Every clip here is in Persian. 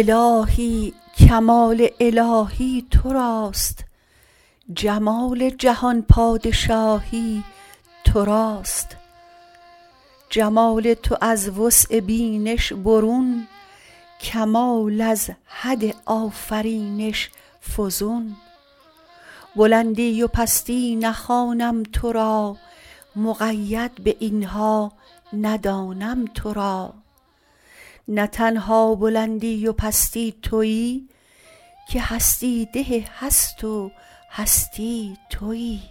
الهی کمال الهی توراست جمال جهان پادشاهی توراست جمال تو از وسع بینش برون کمال از حد آفرینش فزون بلندی و پستی نخوانم تو را مقید به اینها ندانم تو را نه تنها بلندی و پستی تویی که هستی ده هست و هستی تویی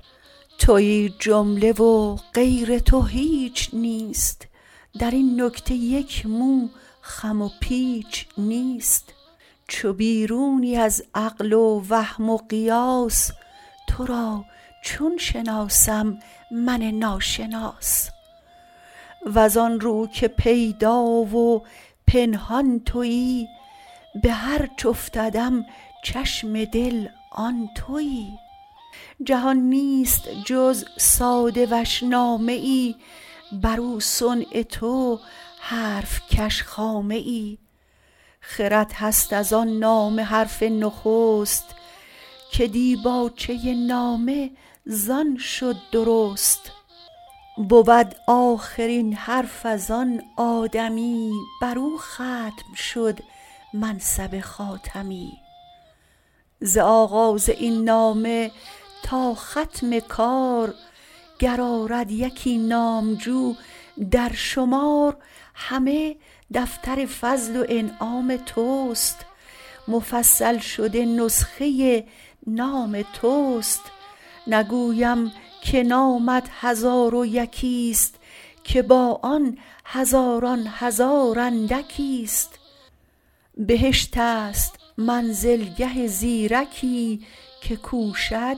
تویی جمله و غیر تو هیچ نیست درین نکته یک مو خم و پیچ نیست چو بیرونی از عقل و وهم و قیاس تو را چون شناسم من ناشناس وز آن رو که پیدا و پنهان تویی به هر چه افتدم چشم دل آن تویی جهان نیست جز ساده وش نامه ای بر او صنع تو حرفکش خامه ای خرد هست ازان نامه حرف نخست که دیباچه نامه زان شد درست بود آخرین حرف ازان آدمی بر او ختم شد منصب خاتمی ز آغاز این نامه تا ختم کار گر آرد یکی نامجو در شمار همه دفتر فضل و انعام توست مفصل شده نسخه نام توست نگویم که نامت هزار و یکیست که با آن هزاران هزار اندکیست بهشت است منزلگه زیرکی که کوشد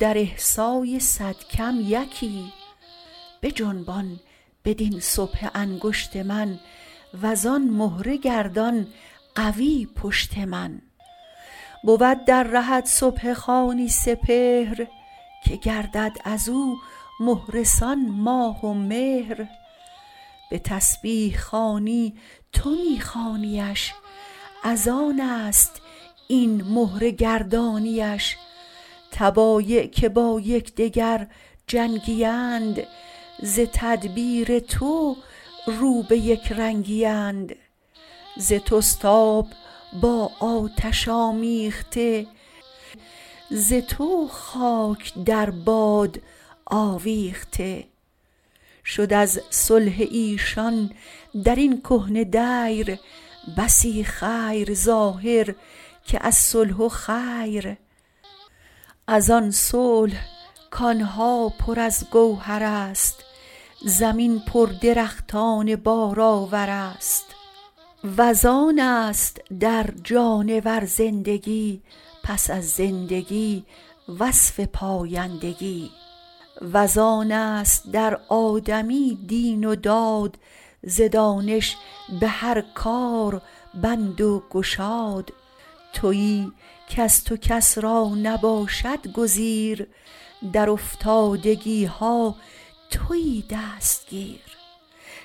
در احصای صد کم یکی بجنبان بدین سبحه انگشت من وزآن مهره گردان قوی پشت من بود در رهت سبحه خوانی سپهر که گردد از مهره سان ماه و مهر به تسبیح خوانی تو می خوانیش از آنست این مهره گردانیش طبایع که با یکدگر جنگی اند ز تدبیر تو رو به یکرنگی اند ز توست آب با آتش آمیخته ز تو خاک در باد آویخته شد از صلح ایشان درین کهنه دیر بسی خیر ظاهر که الصح خیر ازان صلح کانها پر از گوهر است زمین پر درختان بار آور است وز آنست در جانور زندگی پس از زندگی وصف پایندگی وز آنست در آدمی دین و داد ز دانش به هر کار بند و گشاد تویی کز تو کس را نباشد گزیر در افتادگی ها تویی دستگیر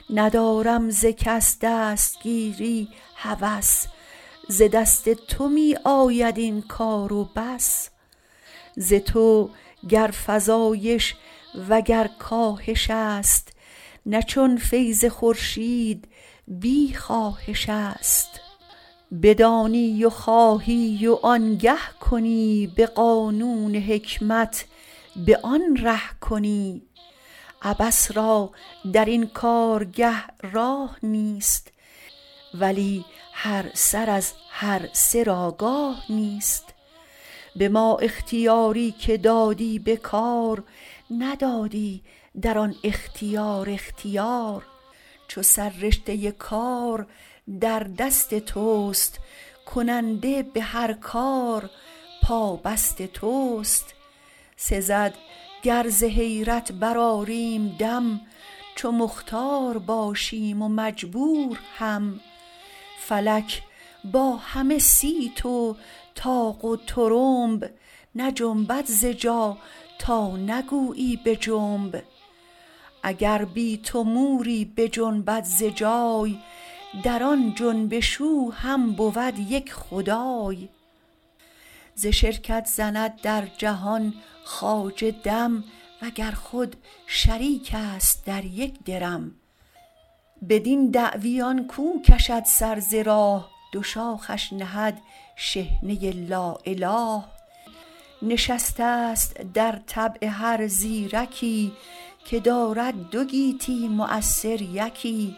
ندارم ز کس دستگیری هوس ز دست تو می آید این کار و بس ز تو گر فزایش و گر کاهش است نه چون فیض خورشید بی خواهش است بدانی و خواهی و آنگه کنی به قانون حکمت به آن ره کنی عبث را درین کارگه راه نیست ولی هر سر از هر سر آگاه نیست به ما اختیاری که دادی به کار ندادی در آن اختیار اختیار چو سر رشته کار در دست توست کننده به هر کار پابست توست سزد گر ز حیرت برآریم دم چو مختار باشیم و مجبور هم فلک با همه صیت و طاق و طرنب نجنبد ز جا تا نگویی بجنب اگر بی تو موری بجنبد ز جای در آن جنبش او هم بود یک خدای ز شرکت زند در جهان خواجه دم وگر خود شریک است در یک درم بدین عوی آن کو کشد سر ز راه دو شاخش نهد شحنه لااله نشسته ست در طبع هر زیرکی که دارد دو گیتی مؤثر یکی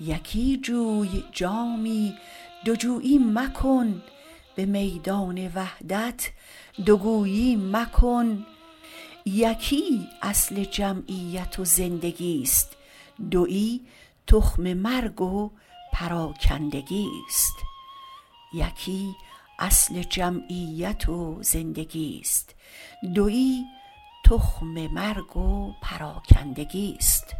یکی جوی جامی دو جویی مکن به میدان وحدت دو گویی مکن یکی اصل جمعیت و زندگیست دویی تخم مرگ و پراکندگیست